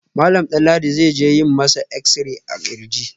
Malam Danladi zai je a yi masa exi-ray a kirji